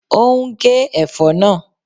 Ó ń gé ẹ̀fọ́ náà